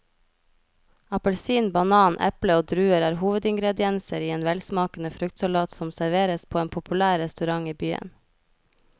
Appelsin, banan, eple og druer er hovedingredienser i en velsmakende fruktsalat som serveres på en populær restaurant i byen.